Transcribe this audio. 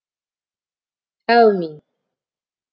әумин